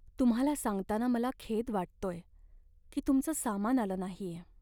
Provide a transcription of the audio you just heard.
तुम्हाला सांगताना मला खेद वाटतोय की तुमचं सामान आलं नाहीये.